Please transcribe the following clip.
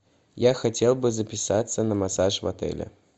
я хотел бы записаться на массаж в отеле